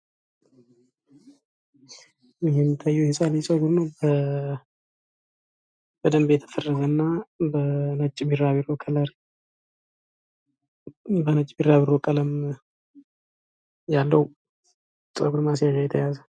ይሄ የሚታየው የህፃን ልጅ ፀጉር ነው በደንብ የተፈረዘ እና በነጭ ቢራቢሮ ቀለም ያለው ፀጉር ማስያዣ የተያዘ ነው።